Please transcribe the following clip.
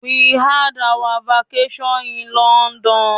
We had our vacation in London.